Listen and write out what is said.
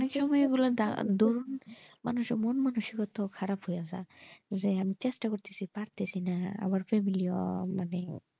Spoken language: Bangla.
মানুষ এর মন মানুষিকতা খারাপ হয়ে যাই যে এই চেষ্টা পড়তেছি পারতেছিনা আবার family গুলা,